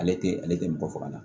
Ale tɛ ale tɛ mɔgɔ faga